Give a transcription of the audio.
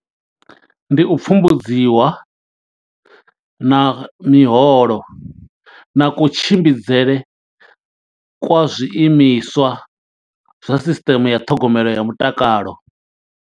Ndi u pfumbudziwa, na miholo, na kutshimbidzele kwa zwiimiswa zwa sisiteme ya ṱhogomelo ya mutakalo.